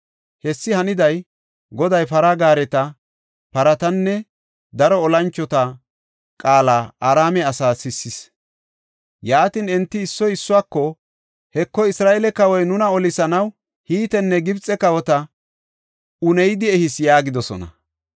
Hessi haniday, Goday para gaareta, paratanne daro olanchota qaala Araame asaa sissis. Yaatin enti issoy issuwako, “Heko, Isra7eele kawoy nuna olisanaw, Hitenne Gibxe kawota uneyidi ehis” yaagidosona.